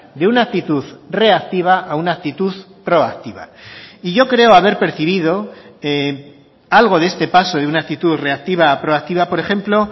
de una actitud reactiva a una actitud proactiva y yo creo haber percibido algo de este paso de una actitud reactiva a proactiva por ejemplo